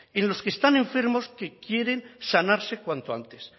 y los que están enfermos que quieren sanarse cuanto antes